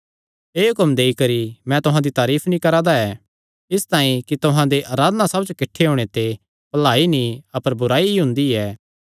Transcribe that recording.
एह़ हुक्म देई करी मैं तुहां दी कोई तारीफ नीं करा दा ऐ इसतांई कि तुहां दे अराधना सभां च किठ्ठे होणे ते भलाई नीं अपर बुराई ई हुंदी ऐ